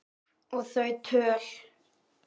Og þau töl